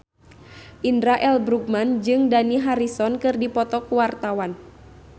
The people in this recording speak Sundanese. Indra L. Bruggman jeung Dani Harrison keur dipoto ku wartawan